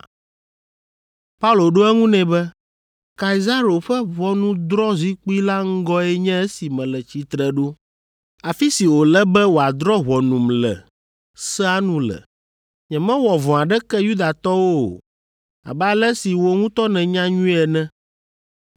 Paulo ɖo eŋu nɛ be, “Kaisaro ƒe ʋɔnudrɔ̃zikpui la ŋgɔe nye esi mele tsitre ɖo, afi si wòle be wòadrɔ̃ ʋɔnum le sea nu le. Nyemewɔ vɔ̃ aɖeke Yudatɔwo o, abe ale si wò ŋutɔ nènya nyuie ene.